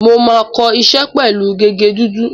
Mo máa ń kọ iṣẹ́ pẹ̀lú gègé dúdú.